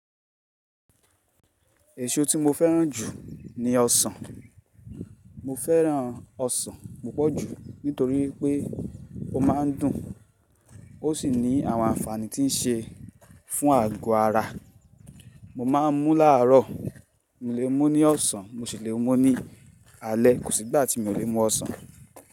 Èso tí mo fẹ́ràn jù ni ọsàn. Mo fẹ́ràn ọsàn púpọ̀ jù nítorí pé ó máa ń dùn ó sì ní àwọn àǹfààní tí ń ṣe fún àgọ́ ara. Mo má ń mú láàárọ̀, mo lè mú ní ọ̀sán, mo sì lè mú ní alé. Kò sí ìgbà tí mi ò lè mú ọsàn.